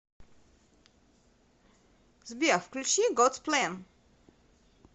сбер включи годс плэн